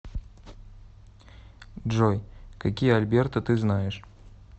джой какие альберта ты знаешь